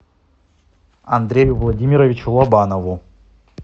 андрею владимировичу лобанову